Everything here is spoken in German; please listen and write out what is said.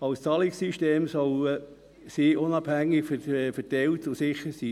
Als Zahlungssystem sollen sie unabhängig verteilt und sicher sein.